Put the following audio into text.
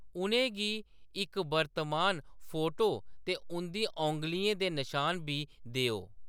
उʼनें गी इक वर्तमान फ़ोटो ते उंʼदी औंगलियें दे नशान बी देओ।